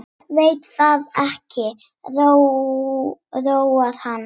Veit að það róar hann.